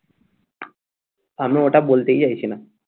আমি ওটা বলতেই চাইছিনা